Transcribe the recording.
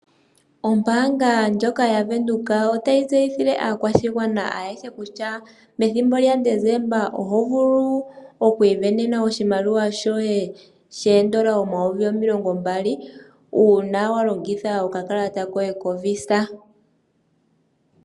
Ombaanga ndjoka yaVenduka otayi tseyithile aakwashigwana ayehe kutya methimbo lyaDesemba oho vulu okwiisindanena oshimaliwa shoye sho N$20000, uuna walongitha okakalata koye koVisa.